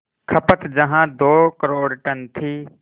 खपत जहां दो करोड़ टन थी